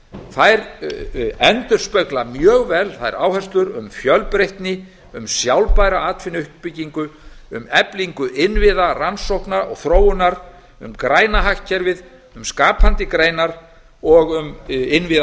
þær endurspegla mjög vel þær áherslur um fjölbreytni um sjálfbæra atvinnuuppbyggingu um eflingu innviða rannsókna og þróunar um græna hagkerfið um skapandi greinar og um innviðafjárfestingar